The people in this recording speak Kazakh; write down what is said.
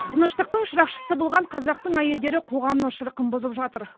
тыныштықтың шырақшысы болған қазақтың әйелдері қоғамның шырқын бұзып жатыр